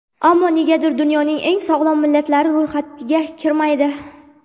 Ammo negadir dunyoning eng sog‘lom millatlari ro‘yxatiga kirmaydi.